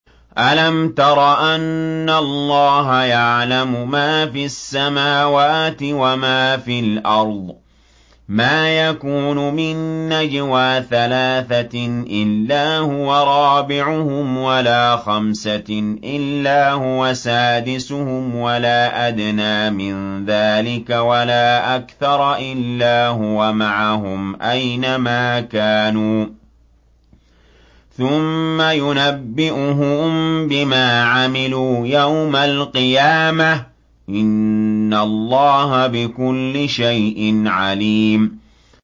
أَلَمْ تَرَ أَنَّ اللَّهَ يَعْلَمُ مَا فِي السَّمَاوَاتِ وَمَا فِي الْأَرْضِ ۖ مَا يَكُونُ مِن نَّجْوَىٰ ثَلَاثَةٍ إِلَّا هُوَ رَابِعُهُمْ وَلَا خَمْسَةٍ إِلَّا هُوَ سَادِسُهُمْ وَلَا أَدْنَىٰ مِن ذَٰلِكَ وَلَا أَكْثَرَ إِلَّا هُوَ مَعَهُمْ أَيْنَ مَا كَانُوا ۖ ثُمَّ يُنَبِّئُهُم بِمَا عَمِلُوا يَوْمَ الْقِيَامَةِ ۚ إِنَّ اللَّهَ بِكُلِّ شَيْءٍ عَلِيمٌ